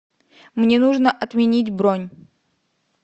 мне нужно отменить бронь